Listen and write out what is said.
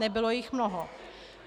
Nebylo jich mnoho.